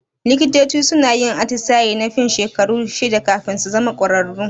Likitoci suna yin atisaye na fin shekaru shida kafin su zama kwararru.